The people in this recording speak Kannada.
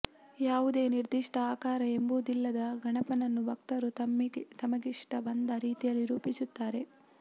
ಯಾವುದೇ ನಿರ್ದಿಷ್ಟ ಆಕಾರ ಎಂಬುದಿಲ್ಲದ ಗಣಪನನ್ನು ಭಕ್ತರು ತಮ್ಗಿಷ್ಟಬಂದ ರೀತಿಯಲ್ಲಿ ರೂಪಿಸುತ್ತಾರೆ